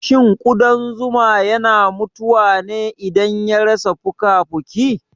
Shin ƙudan zuma yana mutuwane idan ya rasa fukafuki